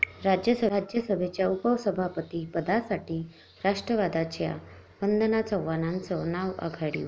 राज्यसभेच्या उपसभापतीपदासाठी राष्ट्रवादीच्या वंदना चव्हाणांचं नाव आघाडीवर